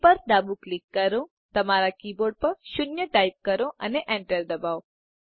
બી પર ડાબું ક્લિક કરો તમારા કી બોર્ડ પર 0 ટાઈપ કરો અને enter દબાવો